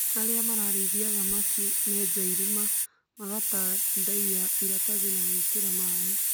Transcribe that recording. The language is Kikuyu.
Arĩa mararĩithia thamaki marnja irima magatandaia iratathi na gwĩkĩra maĩ